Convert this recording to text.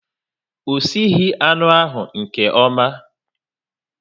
O sighi anụ ahu nke ọma